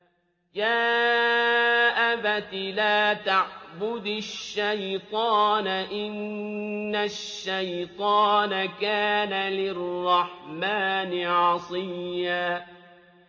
يَا أَبَتِ لَا تَعْبُدِ الشَّيْطَانَ ۖ إِنَّ الشَّيْطَانَ كَانَ لِلرَّحْمَٰنِ عَصِيًّا